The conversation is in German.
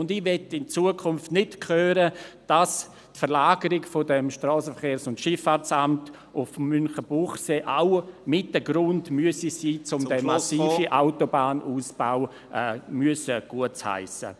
Ich möchte in Zukunft nicht hören, dass die Verlagerung dieses SVSA nach Münchenbuchsee auch mit ein Grund sein müsse, um … den massiven Autobahnausbau gutheissen zu müssen.